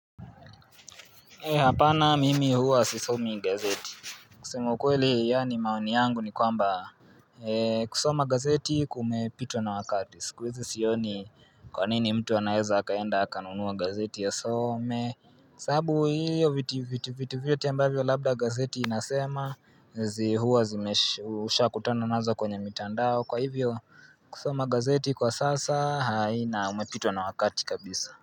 Hee hapana mimi huwa sisomi gazeti. Kusema ukweli yaani maoni yangu ni kwamba kusoma gazeti kumepitwa na wakati. Sikuhizi sioni kwa nini mtu anaeza akaenda akanunua gazeti asome. Kwasababu hiyo vitu vyote ambavyo labda gazeti inasema hua ushakutana nazo kwenye mitandao. Kwa hivyo kusoma gazeti kwa sasa haina umepitwa na wakati kabisa.